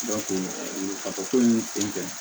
ka fɔ ko nin ten